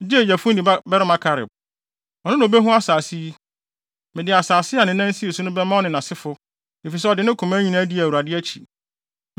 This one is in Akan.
gye Yefune babarima Kaleb. Ɔno na obehu saa asase yi. Mede asase a ne nan sii so no bɛma ɔne nʼasefo, efisɛ ɔde ne koma nyinaa dii Awurade akyi.”